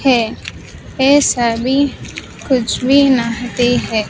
है ये सभी कुछ भी नहाते है।